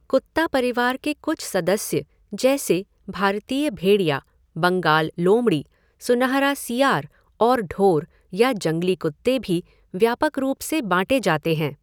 कुत्ता परिवार के कुछ सदस्य जैसे भारतीय भेड़िया, बंगाल लोमड़ी, सुनहरा सियार और ढोर या जंगली कुत्ते भी व्यापक रूप से बाँटे जाते हैं।